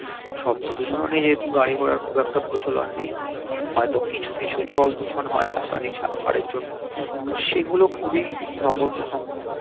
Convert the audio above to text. শব্দ দূষণ ও নেই যেহেতু গাড়ি ঘোড়ার খুব একটা প্রচলন নেই হয়ত কিছু কিছু জল দূষণ হয় রাসায়নিক সার ফারের জন্য তো সেগুলো খুবই নগন্য সংখ্যক